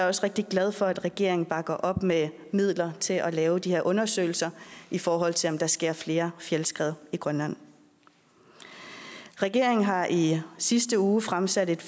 også rigtig glad for at regeringen bakker op med midler til at lave de her undersøgelser i forhold til om der sker flere fjeldskred i grønland regeringen har i sidste uge fremsat et